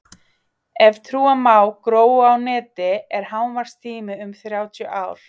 ef trúa má „gróu á neti“ er hámarkstími um þrjátíu ár